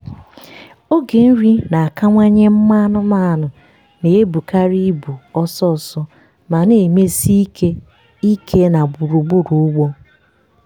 oge nri na-akawanye mma anụmanụ na-ebukarị ibu ọsọ ọsọ ma na-emesi ike ike na gburugburu ugbo.